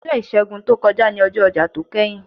Ọjọ́ Ìṣègùn tó kọjá ni ọjọ́ ọjà tó kẹ́yìn.